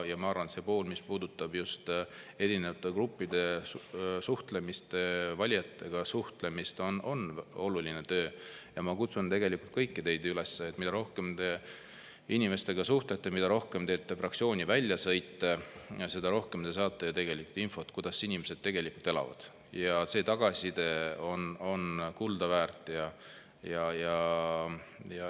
Ma arvan, et see pool, mis puudutab just erinevate gruppidega suhtlemist, valijatega suhtlemist, on oluline töö ja ma kutsun kõiki teid üles, et mida rohkem te inimestega suhtlete, mida rohkem teete fraktsiooni väljasõite, seda rohkem te saate infot, kuidas inimesed tegelikult elavad, ja see tagasiside on kuldaväärt.